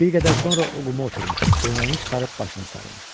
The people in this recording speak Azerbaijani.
Bir qədər sonra o quma oturmuşdu, köynəyini çıxarıb başına sarımışdı.